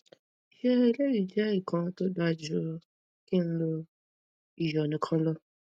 se eleyi je ikan to da ju ki n lo iyo nikan lo